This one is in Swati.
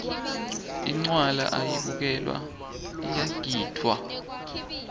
incwala ayibukelwa iyagidvwa